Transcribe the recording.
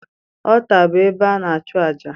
Ọlta bu ébé ana achu ájá.